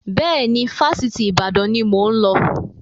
Bẹ́ẹ̀ni, Fásitì Ìbàdàn ni mo ń lọ